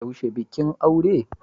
Yaushe bikin aure?